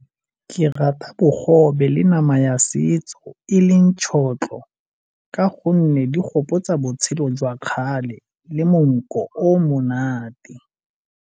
Ke rata bogobe le nama ya setso e leng tšhotlho ka gonne di gopotsa botshelo jwa kgale le monko o o monate.